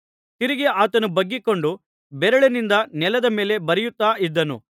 ತಿರುಗಿ ಆತನು ಬಗ್ಗಿಕೊಂಡು ಬೆರಳಿನಿಂದ ನೆಲದ ಮೇಲೆ ಬರೆಯುತ್ತಾ ಇದ್ದನು